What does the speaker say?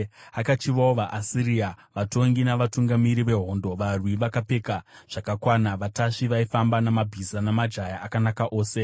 Akachivawo vaAsiria, vatongi navatungamiri vehondo, varwi vakapfeka zvakakwana, vatasvi vaifamba namabhiza, namajaya akanaka ose.